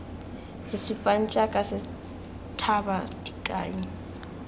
re supang jaaka sethaba dikai